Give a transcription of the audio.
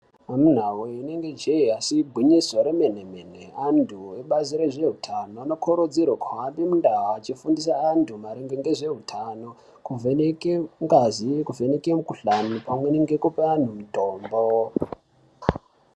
Amunawee, rinenge jee asi igwinyiso remene mene, antu ebazi rezveutano anokurudzirwe kuhambe mundau achifundisa vantu maringe ngeutano, kuvheneke ngazi, kuvheneke mikuhlani pamweni ngekupe anhu mitombo.